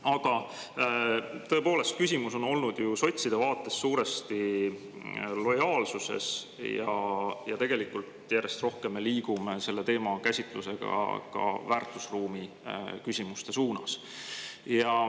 Aga tõepoolest, küsimus on olnud ju sotside vaates suuresti lojaalsuses ja tegelikult järjest rohkem me liigume selle teema käsitlusega ka väärtusruumi küsimuste suunas.